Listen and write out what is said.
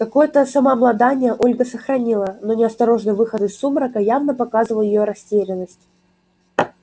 какое-то самообладание ольга сохранила но неосторожный выход из сумрака явно показывал её растерянность